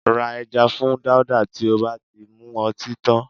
Ra ẹja fún Dáúdà tí ó bá ti mu ọtí tán